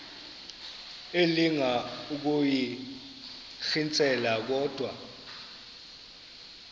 elinga ukuyirintyela kodwa